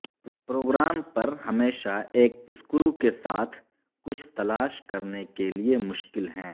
programme پر ہمیشہ ایک سکرو کے ساتھ کچھ تلاش کرنے کے لئے مشکل ہیں